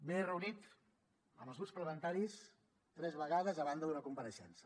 m’he reunit amb els grups parlamentaris tres vegades a banda d’una compareixença